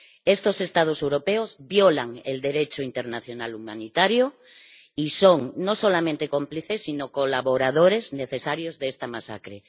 Estos Estados europeos violan el Derecho internacional humanitario y son no solamente cómplices, sino colaboradores necesarios de esta masacre.